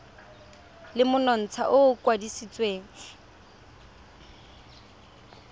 le monontsha o o kwadisitsweng